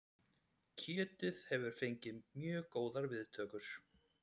Kjötið hefur fengið mjög góðar viðtökur